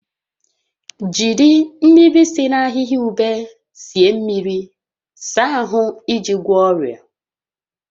Jiri mmiri si na ahihia ube sie mmiri saa ahụ iji gwọọ ọrịa